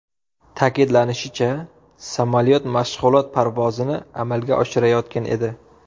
Ta’kidlanishicha, samolyot mashg‘ulot parvozini amalga oshirayotgan edi.